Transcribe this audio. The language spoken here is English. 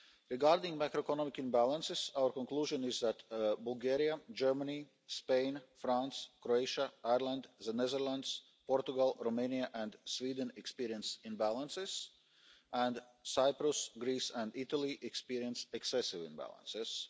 funds. Regarding macroeconomic imbalances our conclusion is that Bulgaria, Germany, Spain, France, Croatia, Ireland, the Netherlands, Portugal, Romania and Sweden experienced imbalances and Cyprus, Greece and Italy experienced excessive imbalances.